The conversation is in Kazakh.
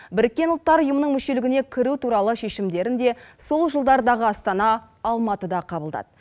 біріккен ұлттар ұйымының мүшелігіне кіру туралы шешімдерін де сол жылдардағы астана алматыда қабылдады